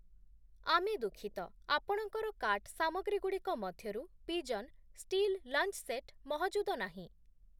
ଆମେ ଦୁଃଖିତ, ଆପଣଙ୍କର କାର୍ଟ୍ ସାମଗ୍ରୀ‌ଗୁଡ଼ିକ ମଧ୍ୟରୁ ପିଜନ୍ ଷ୍ଟୀଲ୍ ଲଞ୍ଚ୍‌ ସେଟ୍‌ ମହଜୁଦ ନାହିଁ ।